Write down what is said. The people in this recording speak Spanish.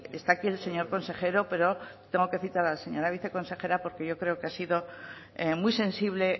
está aquí el señor consejero pero tengo que citar a la señora viceconsejera porque yo creo que ha sido muy sensible